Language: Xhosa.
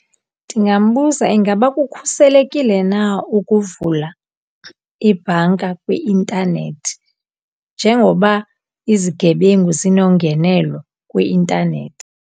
Ndingambuza ingaba kukhuselekile na ukuvula ibhanka kwi-intanethi njengoba izigebengu zinongenelo kwi-intanethi